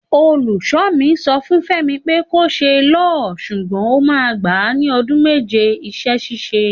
Òlúkọ mí, sọ fún fẹmi pẹ kọ sẹ liọ, sugbon òmá gba ní ọdún mẹjẹ isẹsísẹ.